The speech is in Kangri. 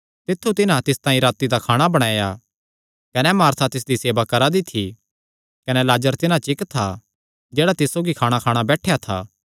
तित्थु तिन्हां तिस तांई राती दा खाणा बणाया कने मार्था तिसदी सेवा करा दी थी कने लाजर तिन्हां च इक्क था जेह्ड़ा तिस सौगी खाणाखाणा बैठेया था